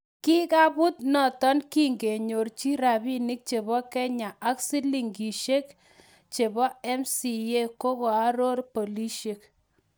Kikabut noton kogikinyorchi rabinik che bo Kenya, ak silingisiek chebo MCA kokoaror polisiek